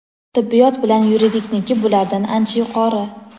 Tibbiyot bilan yuridikniki bulardan ancha yuqori.